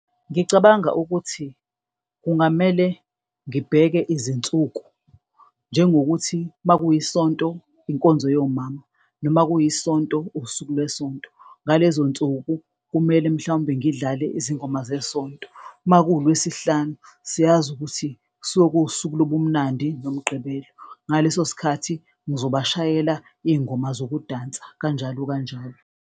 Ngicabanga ukuthi kungamele ngibheke izinsuku njengokuthi uma kuyiSonto, inkonzo yomama noma kuyiSonto usuku lweSonto. Ngalezo nsuku kumele mhlawumbe ngidlale izingoma zesonto uma kuLwesihlanu, siyazi ukuthi suke kuwusuku lobumnandi ngoMgqibelo, ngaleso sikhathi ngizoba shayela izingoma zokudansa, kanjalo kanjalo.